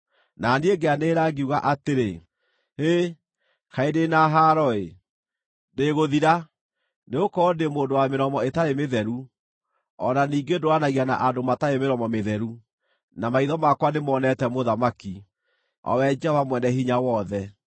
Na niĩ ngĩanĩrĩra ngiuga atĩrĩ, “Hĩ! Kaĩ ndĩ na haaro-ĩ! Ndĩĩgũthira! Nĩgũkorwo ndĩ mũndũ wa mĩromo ĩtarĩ mĩtheru, o na ningĩ ndũũranagia na andũ matarĩ mĩromo mĩtheru, na maitho makwa nĩmonete Mũthamaki, o we Jehova Mwene-Hinya-Wothe.”